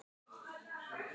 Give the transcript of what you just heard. Hann er á lausu.